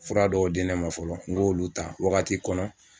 Fura dɔw di ne ma fɔlɔ n k'olu ta wagati dɔw kɔnɔ.